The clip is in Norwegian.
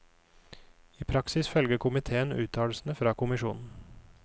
I praksis følger komitéen uttalelsen fra kommisjonen.